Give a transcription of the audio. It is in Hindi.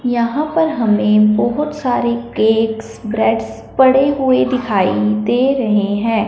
यहां पर हमें बहोत सारे केकस ब्रेड्स पड़े हुए दिखाई दे रहे हैं।